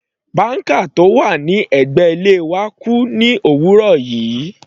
Banker tó wà ní ẹ̀gbẹ́ ilé wa kú ní òwúrọ̀ yìí.